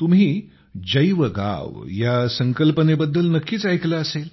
तुम्ही जैवगाव या संकल्पनेबद्दल नक्कीच ऐकले असेल